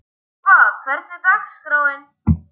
Bobba, hvernig er dagskráin?